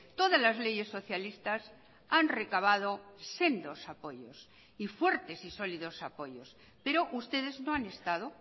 todas las leyes socialistas han recabado sendos apoyos y fuertes y sólidos apoyos pero ustedes no han estado